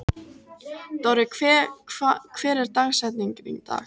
Dorri, hver er dagsetningin í dag?